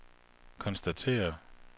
konstaterer